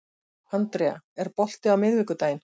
Andrea, er bolti á miðvikudaginn?